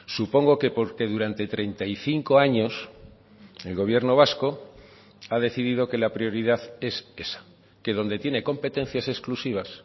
supongo que porque durante treinta y cinco años el gobierno vasco ha decidido que la prioridad es esa que donde tiene competencias exclusivas